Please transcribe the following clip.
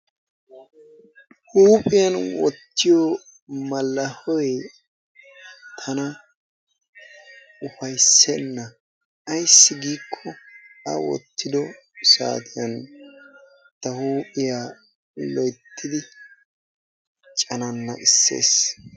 huuphiyan wottiyoo mallahoy tana ufayissenna. ayissi giikko a wottido saatiyan ta huuphiyaa loyittidi canaannaqissees.